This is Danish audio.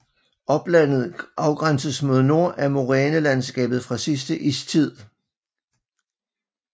Oplandet afgrænses mod nord af morænelandskabet fra sidste istid